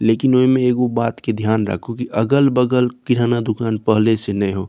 लेकिन ओय में एगो बात के ध्यान राखू कि अगल-बगल किराना दुकान पहले से न हो।